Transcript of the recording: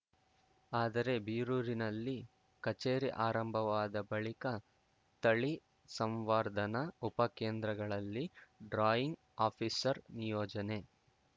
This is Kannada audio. ಆದರೆ ಬೀರೂರಿನಲ್ಲಿ ಕಚೇರಿ ಆರಂಭವಾದ ಬಳಿಕ ತಳಿ ಸಂವರ್ಧನಾ ಉಪಕೇಂದ್ರಗಳಲ್ಲಿ ಡ್ರಾಯಿಂಗ್‌ ಆಫೀಸರ್‌ ನಿಯೋಜನೆ